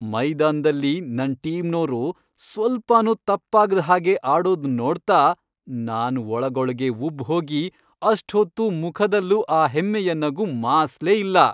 ಮೈದಾನ್ದಲ್ಲಿ ನನ್ ಟೀಮ್ನೋರು ಸ್ವಲ್ಪನೂ ತಪ್ಪಾಗ್ದ್ ಹಾಗೆ ಆಡೋದ್ ನೋಡ್ತಾ ನಾನ್ ಒಳಗೊಳ್ಗೇ ಉಬ್ಬ್ ಹೋಗಿ ಅಷ್ಟ್ಹೊತ್ತೂ ಮುಖದಲ್ಲೂ ಆ ಹೆಮ್ಮೆಯ ನಗು ಮಾಸ್ಲೇ ಇಲ್ಲ.